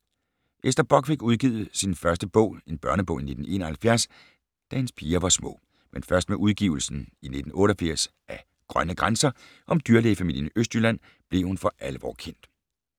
Ester Bock fik udgivet sin første bog, en børnebog i 1971, da hendes piger var små. Men først med udgivelsen i 1988 af Grønne grænser, om dyrlægefamilien fra Østjylland, blev hun for alvor kendt.